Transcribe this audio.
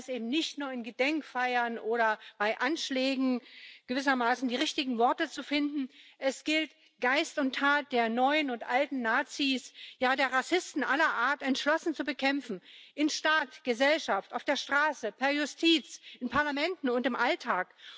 Und Handeln heißt eben nicht nur, bei Gedenkfeiern oder bei Anschlägen gewissermaßen die richtigen Worte zu finden Es gilt, Geist und Tat der neuen und alten Nazis ja der Rassisten aller Art entschlossen zu bekämpfen im Staat, in der Gesellschaft, auf der Straße, per Justiz, in Parlamenten und im Alltag.